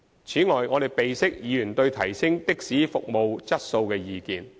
此外，我們備悉議員對提升的士服務質素的意見。